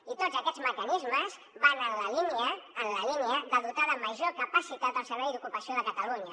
i tots aquests mecanismes van en la línia de dotar de major capacitat el servei d’ocupació de catalunya